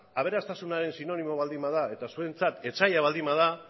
aberastasunaren sinonimoa baldin bada eta zuentzat etsaia baldin bada